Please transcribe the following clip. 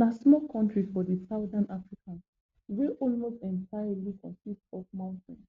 na small country for di southern africa wey almost entirely consis otf mountains